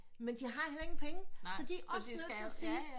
Men de har heller ingen penge så de er også nødt til at sige